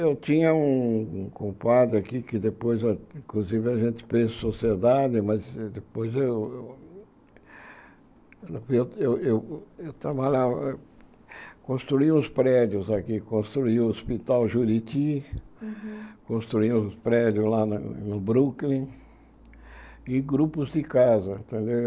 Eu tinha um compadre aqui que depois, inclusive a gente fez sociedade, mas depois eu eu... Eu eu eu trabalhava... Construí os prédios aqui, construí o Hospital Juriti, construí os prédios lá no Brooklyn e grupos de casa, entendeu?